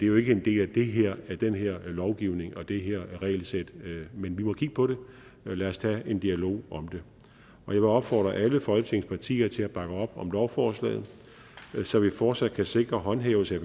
jo ikke en del af den her lovgivning og det her regelsæt men vi må kigge på det så lad os tage en dialog om det jeg vil opfordre alle folketingets partier til at bakke op om lovforslaget så vi fortsat kan sikre håndhævelse